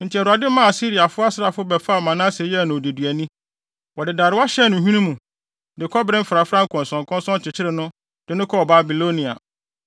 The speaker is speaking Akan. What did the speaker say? Enti Awurade maa Asiriafo asraafo bɛfaa Manase yɛɛ no odeduani. Wɔde darewa hyɛɛ ne hwene mu, de kɔbere mfrafrae nkɔnsɔnkɔnsɔn kyekyeree no, de no kɔɔ Babilonia.